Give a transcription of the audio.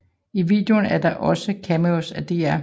I videoen er der også cameos af Dr